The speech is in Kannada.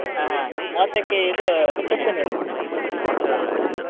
ಹ ಮೂವತ್ತಕ್ಕೆ ಇದು reception ಇರುದು .